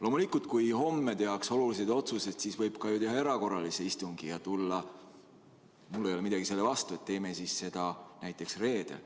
Loomulikult, kui homme tehakse olulisi otsuseid, siis võib ju teha erakorralise istungi ja mul ei ole midagi selle vastu, et teeme siis seda näiteks reedel.